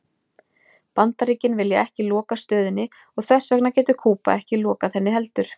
Bandaríkin vilja ekki loka stöðinni og þess vegna getur Kúba ekki lokað henni heldur.